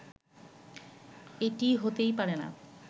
এটি হতেই পারে না